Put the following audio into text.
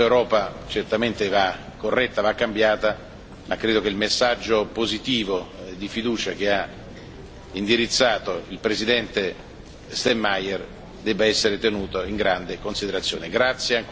Questa Europa certamente va corretta, va cambiata, ma credo che il messaggio positivo, di fiducia, che ha indirizzato il Presidente Steinmeier debba essere tenuto in grande considerazione.